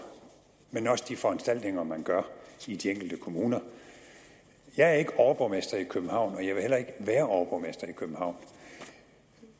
også de foranstaltninger man gør i de enkelte kommuner for jeg er ikke overborgmester i københavn og jeg vil heller ikke være overborgmester i københavn